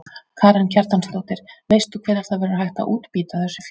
Karen Kjartansdóttir: Veist þú hvenær það verður hægt að útbýta þessu fé?